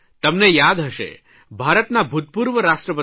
તમને યાદ હશે ભારતના ભૂતપૂર્વ રાષ્ટ્રપતિ ડૉ